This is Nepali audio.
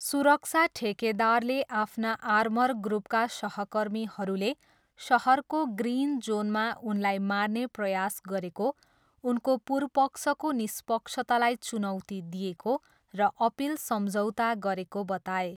सुरक्षा ठेकेदारले आफ्ना आर्मरग्रुपका सहकर्मीहरूले सहरको ग्रिन जोनमा उनलाई मार्ने प्रयास गरेको, उनको पुर्पक्षको निष्पक्षतालाई चुनौती दिएको र अपिल सम्झौता गरेको बताए।